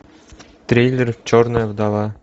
трейлер черная вдова